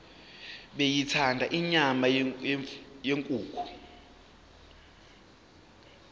beyithanda inyama yenkukhu